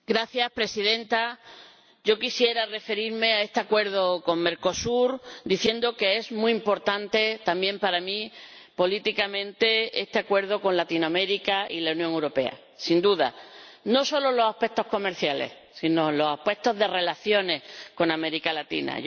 Señora Presidenta, yo quisiera referirme a este Acuerdo con Mercosur diciendo que es muy importante, también para mí, políticamente, que se celebre este Acuerdo entre Latinoamérica y la Unión Europea, sin duda, no solo por los aspectos comerciales, sino también por nuestras relaciones con América Latina.